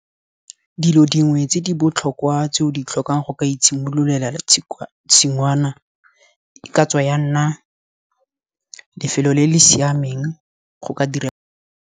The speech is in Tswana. Dilo dingwe tse di botlhokwa tse o di tlhokang go ka itshimololela tshingwana ka tsaya nna lefelo le le siameng go ka dira.